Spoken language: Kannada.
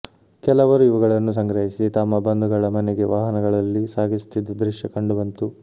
ಕೆಲವರು ಇವುಗಳನ್ನು ಸಂಗ್ರಹಿಸಿ ತಮ್ಮ ಬಂಧುಗಳ ಮನೆಗೆ ವಾಹನಗಳಲ್ಲಿ ಸಾಗಿಸುತ್ತಿದ್ದ ದೃಶ್ಯ ಕಂಡು ಬಂತು